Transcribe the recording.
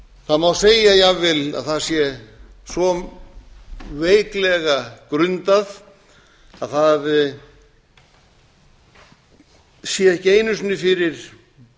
það má segja jafnvel að það sé svo veiklega grundað að það sé ekki einu sinni fyrir